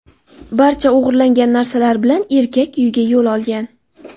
Barcha o‘g‘irlangan narsalar bilan erkak uyiga yo‘l olgan.